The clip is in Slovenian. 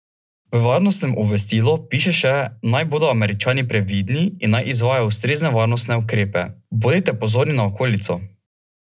V varnostnem obvestilu piše še, naj bodo Američani previdni in naj izvajajo ustrezne varnostne ukrepe: "Bodite pozorni na okolico.